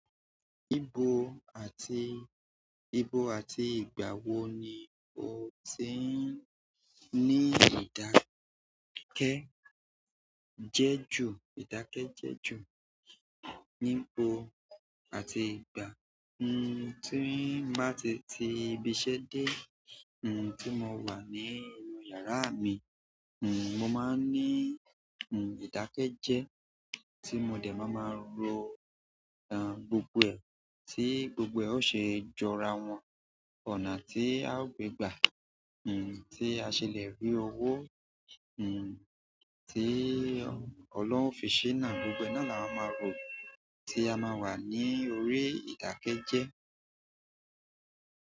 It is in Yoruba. Ibo àti, ibo àti ìgbà wo ni o ṣe ń ní ìdákẹ́ jẹ́ ju ìdákẹ́ jẹ́ ju níbo àti ìgbà? Hm, tí ń bá ti ti ibiṣẹ́ dé, hm, tí mo wà ní inú yàráà mi, hm, mo máa ń ní, hm, ìdákẹ́ jẹ́ tí mo dẹ̀ máa máa rò, à, gbogbo ẹ̀, tí gbogbo ẹ̀ ó ṣe jọra wọn. Ọ̀nà tí a ó gbé gbà, hm, tí a ṣe lè rí owó, hm, tí ọlọ́hun òfin ṣínà, gbogbo ẹ̀ náà là má máa rò tí a máa wà ní orí ìdákẹ́ jẹ́.